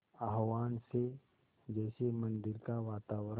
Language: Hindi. आह्वान से जैसे मंदिर का वातावरण